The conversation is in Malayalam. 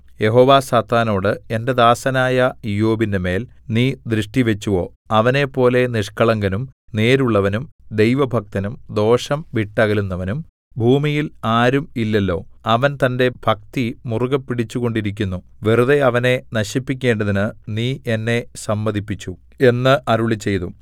യഹോവ സാത്താനോട് എന്റെ ദാസനായ ഇയ്യോബിന്റെമേൽ നീ ദൃഷ്ടിവച്ചുവോ അവനെപ്പോലെ നിഷ്കളങ്കനും നേരുള്ളവനും ദൈവഭക്തനും ദോഷം വിട്ടകലുന്നവനും ഭൂമിയിൽ ആരും ഇല്ലല്ലോ അവൻ തന്റെ ഭക്തിമുറുകെ പിടിച്ചുകൊണ്ടിരിക്കുന്നു വെറുതെ അവനെ നശിപ്പിക്കേണ്ടതിന് നീ എന്നെ സമ്മതിപ്പിച്ചു എന്ന് അരുളിച്ചെയ്തു